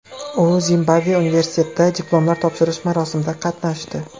U Zimbabve universitetida diplomlar topshirish marosimida qatnashdi.